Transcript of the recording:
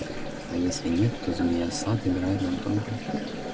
а если нет то змея сатт играет нам только